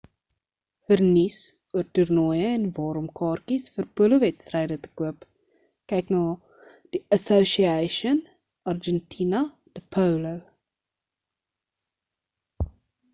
vir nuus oor toernooie en waar om kaartjies vir polowedstryde te koop kyk na die asociacion argentina de polo